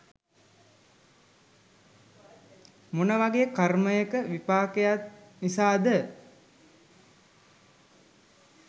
මොන වගේ් කර්මයක විපාකයක් නිසාද